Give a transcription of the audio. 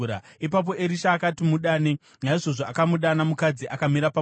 Ipapo Erisha akati, “Mudane.” Naizvozvo akamudana, mukadzi akamira pamukova.